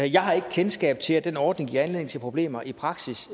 jeg har ikke kendskab til at den ordning giver anledning til problemer i praksis